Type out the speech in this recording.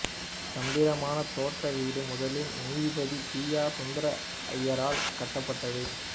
கம்பீரமான தோட்ட வீடு முதலில் நீதிபதி பி ஆர் சுந்தர் ஐயரால் கட்டப்பட்டது